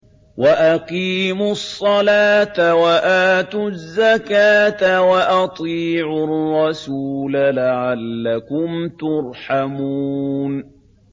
وَأَقِيمُوا الصَّلَاةَ وَآتُوا الزَّكَاةَ وَأَطِيعُوا الرَّسُولَ لَعَلَّكُمْ تُرْحَمُونَ